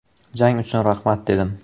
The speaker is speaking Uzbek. Jang uchun rahmat dedim.